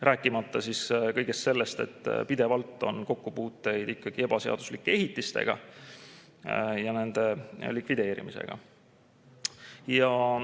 Rääkimata kõigest sellest, et ikkagi on pidevalt kokkupuuteid ebaseaduslike ehitiste ja nende likvideerimisega.